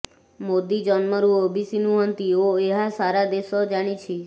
ମୋଦୀ ଜନ୍ମରୁ ଓବିସି ନୁହନ୍ତି ଓ ଏହା ସାରା ଦେଶ ଜାଣିଛି